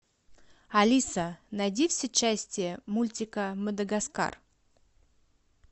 алиса найди все части мультика мадагаскар